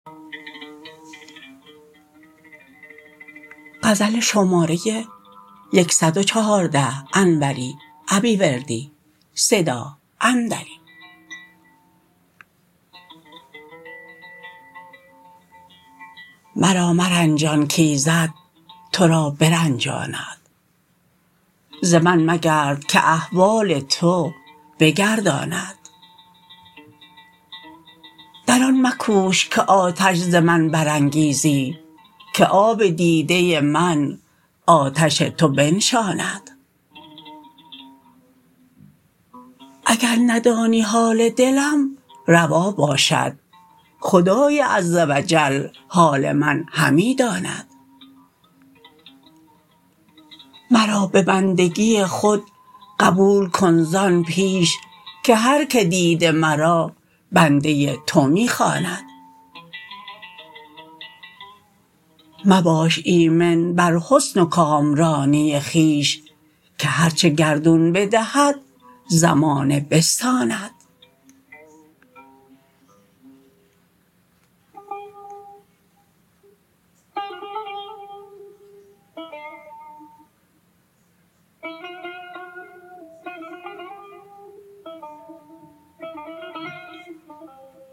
مرا مرنجان کایزد ترا برنجاند ز من مگرد که احوال تو بگرداند در آن مکوش که آتش ز من برانگیزی که آب دیده من آتش تو بنشاند اگر ندانی حال دلم روا باشد خدای عز و جل حال من همی داند مرا به بندگی خود قبول کن زان پیش که هرکه دیده مرا بنده تو می خواند مباش ایمن بر حسن و کامرانی خویش که هرچه گردون بدهد زمانه بستاند